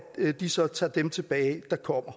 de så tager dem tilbage der kommer